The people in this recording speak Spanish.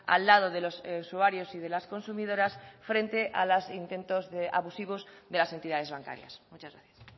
al lado de los usuarios y de las consumidoras frente a los intentos abusivos de las entidades bancarias muchas gracias